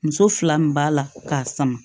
Muso fila min b'a la k'a sama